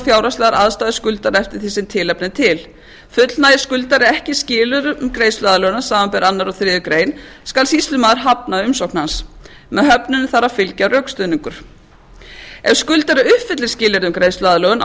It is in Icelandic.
fjárhagslegar aðstæður skuldara eftir því sem tilefni er til fullnægir skuldari ekki skilyrðin um greiðsluaðlögun samanber aðra og þriðju grein skal sýslumaður hafna umsókn hans með höfnun þarf að fylgja rökstuðningur ef skuldari uppfyllir skilyrði um greiðsluaðlögun á